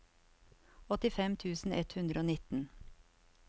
åttifem tusen ett hundre og nitten